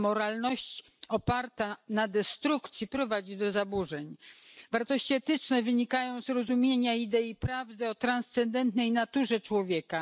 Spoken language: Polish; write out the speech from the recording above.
A moralność oparta na destrukcji prowadzi do zaburzeń. Wartości etyczne wynikają z rozumienia idei prawdy o transcendentalnej naturze człowieka.